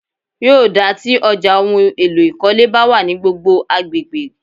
Yóò dáa tí ọjà ohun èlò ìkọ́lé bá wà ní gbogbo agbègbè.